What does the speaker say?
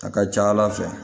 A ka ca ala fɛ